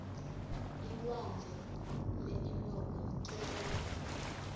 ilwandle leinnoko litholakala kuphi